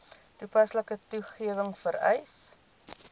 toepaslike wetgewing vereis